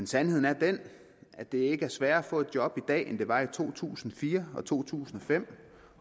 sandheden er den at det ikke er sværere at få et job i dag end det var i to tusind og fire og to tusind og fem